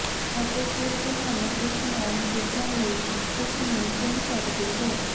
ਅਤੇ ਫਿਰ ਤੁਹਾਨੂੰ ਇਸ ਨਾਲ ਨਜਿੱਠਣ ਲਈ ਕਿਸ ਨੂੰ ਚੁਣ ਸਕਦੇ ਹੋ